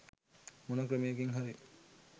මොන ක්‍රමයකින් හරි